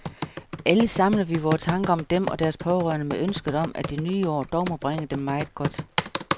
Alle samler vi vore tanker om dem og deres pårørende med ønsket om, at det nye år dog må bringe dem meget godt.